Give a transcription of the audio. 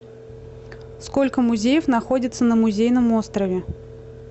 сколько музеев находится на музейном острове